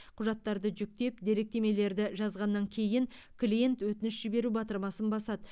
құжаттарды жүктеп деректемелерді жазғаннан кейін клиент өтініш жіберу батырмасын басады